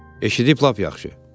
Eşidib, lap yaxşı.